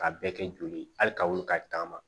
K'a bɛɛ kɛ joli ye hali ka wuli ka taama